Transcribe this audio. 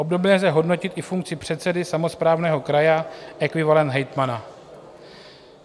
Obdobně lze hodnotit i funkci předsedy samosprávného kraje, ekvivalent hejtmana.